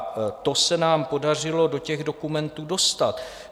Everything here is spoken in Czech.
A to se nám podařilo do těch dokumentů dostat.